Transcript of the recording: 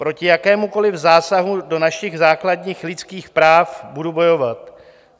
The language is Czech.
Proti jakémukoli zásahu do našich základních lidských práv budu bojovat.